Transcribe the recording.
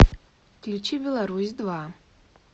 включи беларусь два